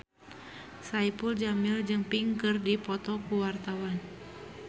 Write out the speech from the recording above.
Saipul Jamil jeung Pink keur dipoto ku wartawan